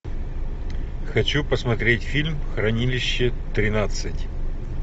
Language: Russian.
хочу посмотреть фильм хранилище тринадцать